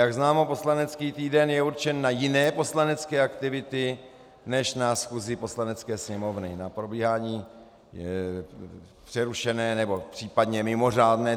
Jak známo, poslanecký týden je určen na jiné poslanecké aktivity než na schůzi Poslanecké sněmovny, na probíhání přerušené nebo případně mimořádné.